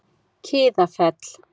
Kiðafelli